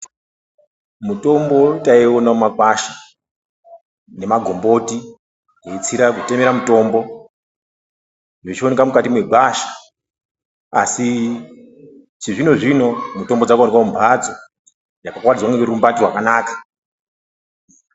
Mutombo taiona mumagwasha nemagomboti weitsiira kutemera mutombo wechioneka mukati megwasha asi chizvino zvino mitombo dzakuonekwa mumhatso pakawaridzwa nerurumbati rwakanaka.